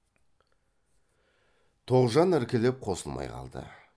тоғжан іркіліп қосылмай қалды